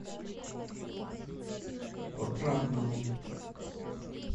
отрадному